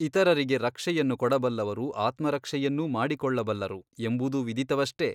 ಇತರರಿಗೆ ರಕ್ಷೆಯನ್ನು ಕೊಡಬಲ್ಲವರು ಆತ್ಮರಕ್ಷೆಯನ್ನೂ ಮಾಡಿಕೊಳ್ಳಬಲ್ಲರು ಎಂಬುದೂ ವಿದಿತವಷ್ಟೆ ?